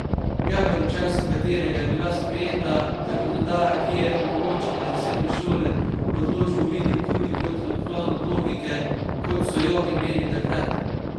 Gaber, v času katerega je bila sprejeta zakonodaja, ki je omogočila zasebne šole, odločbo vidi tudi kot odklon od logike, kot so jo imeli takrat.